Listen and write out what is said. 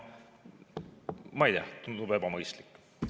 Ma ei tea, tundub ebamõistlik.